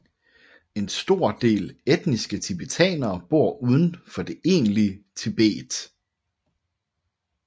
En stor del etniske tibetanere bor uden for det egentlige Tibet